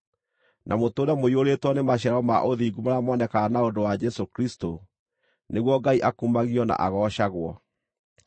na mũtũũre mũiyũrĩtwo nĩ maciaro ma ũthingu marĩa monekaga na ũndũ wa Jesũ Kristũ, nĩguo Ngai akumagio na agoocagwo.